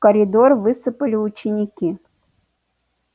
в коридор высыпали ученики